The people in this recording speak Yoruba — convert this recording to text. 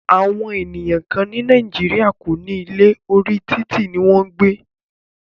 Àwọn ènìyàn kán ní Nàìjíríà kò ní ilé, orí títì ní wọn ń gbé.